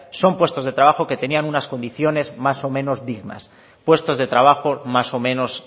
son puestos de trabajo que tenían unas condiciones más o menos dignas puestos de trabajo más o menos